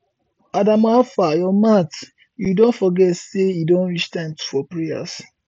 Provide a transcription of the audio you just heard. adamu howfar your mat you don forget say e don reach time for prayers